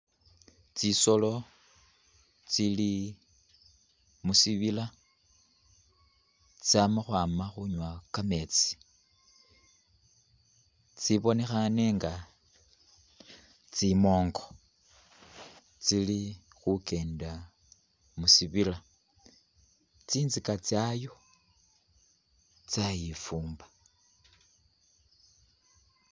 Tsisoolo tsili musibiila tsama khwama khunywa kameetsi tsi’bonekhaane nga tsimoongo tsili khukenda musibiila tsinzika tsayo tsayifumba.